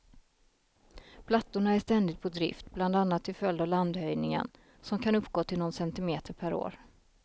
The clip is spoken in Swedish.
Plattorna är ständigt på drift, bland annat till följd av landhöjningen, som kan uppgå till någon centimeter per år.